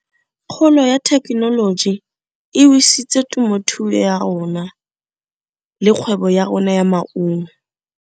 Kgolo ya thekenoloji e wisitse temothuo ya rona le kgwebo ya rona ya maungo.